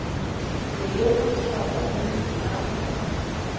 yeyokuchaza umzi apho